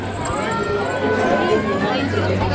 Þau koma inn í herbergið hans.